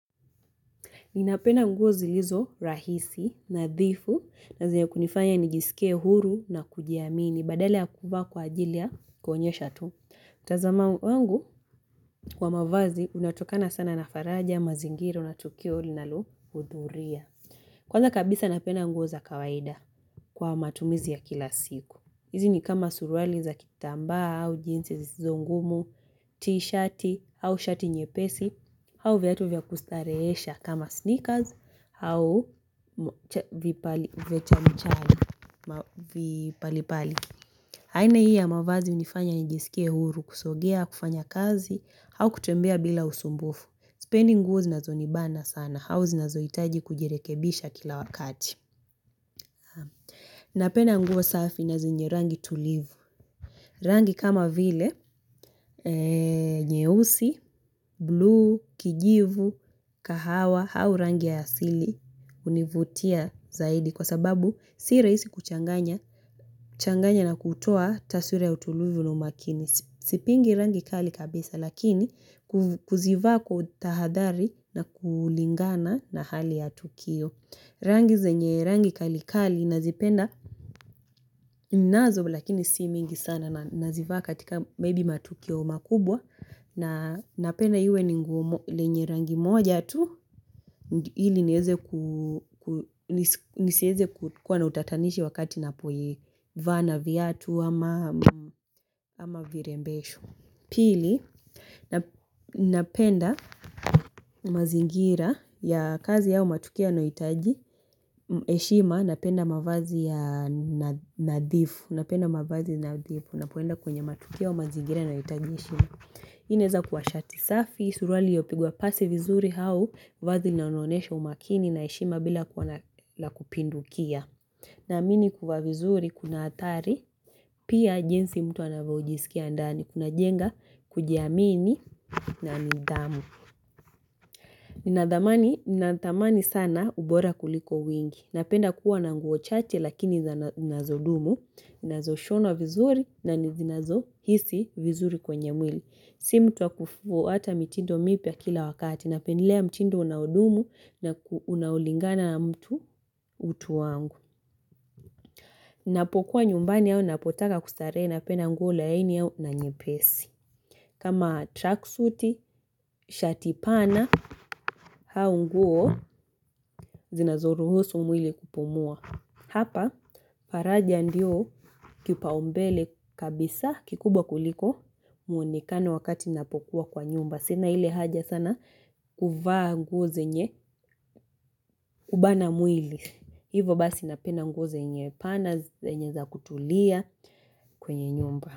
Ninapenda nguo zilizo rahisi, nadhifu, na zenye kunifanya nijisikie huru na kujiamini, badala ya kuvaa kwa ajili ya kuonyesha tu. Mtazamo wangu, kwa mavazi, unatokana sana na faraja, mazingira, na tukio linalohudhuria. Kwanza kabisa napenda nguo za kawaida kwa matumizi ya kila siku. Hizi ni kama suruali za kitambaa au jeans zisizongumu, tishiti au shati nyepesi au viatu vya kustarehesha kama sneakers au vipali vipalipali haina hii ya mavazi hunifanya nijisikie huru kusogea, kufanya kazi au kutembea bila usumbufu sipendi nguo zinazonibana sana, au zinazohitaji kujirekebisha kila wakati Napenda nguo safi na zenye rangi tulivu Rangi kama vile nyeusi, blue, kijivu, kahawa au rangi ya asili hunivutia zaidi. Kwa sababu si rahisi kuchanganya changanya na kutoa taswila ya utulivu na umakini. Sipingi rangi kali kabisa. Lakini, huzivaa kwa utahadhari na kulingana na hali ya tukio Rangi zenye rangi kali kali nazipenda ninazo lakini si mingi sana na nazivaa katika maybe matukio makubwa na napenda liwe ni nguo lenye rangi moja tu ili niweze ku nisiweze kuwa na utatanishi wakati ninapoivaa na viatu ama virembesho. Pili, napenda mazingira ya kazi ambayo matukio yanayohitaji heshima, napenda mavazi ya nadhifu, napenda mavazi nadhifu, ninapoenda kwenye matukio au mazingira yanayohitaji heshima. Hii iniweza kuwa shati safi, suruali iliyopigwa pasi vizuri au, vazi linaloonyesha umakini na heshima bila kuwa la kupindukia. Naamini kuvaa vizuri, kuna hatari, pia jinsi mtu anavyojisikia ndani, kunajenga, kujiamini, na nidhamu. Ninadhamini, ninadhamini sana ubora kuliko wingi. Napenda kuwa na nguo chache lakini zinazodumu, na zilizoshonwa vizuri, na nizinazohisi vizuri kwenye mwili. Si mtu wa kufuata mitindo mipya kila wakati napendielea mtindo unaodumu na unaolingana na utu wangu. Ninapokuwa nyumbani au ninapotaka kustarehe napenda nguo laini au nyepesi. Kama tracksuti, shati pana, au nguo zinazoruhusu mwili kupumua. Hapa, faraja ndio kipaumbele kabisa kikubwa kuliko muonekane wakati ninapokuwa kwa nyumba. Sina ile haja sana ya kuvaa nguo zenye hubana mwili. Hivo basi napenda nguo zenye pana zenye za kutulia kwenye nyumba.